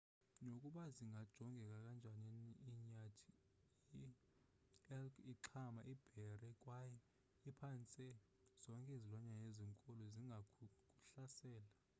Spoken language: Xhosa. nokuba zingajongeka kanjani inyathi ielk ixhama iibhere kwaye phantse zonke izilwanyana ezinkulu zingakuhlasela